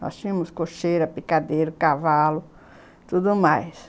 Nós tínhamos cocheira, picadeiro, cavalo, tudo mais.